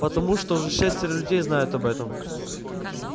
потому что уже шестеро людей знают об этом